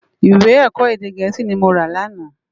Iwé èkò édé gèési ni mó rá làná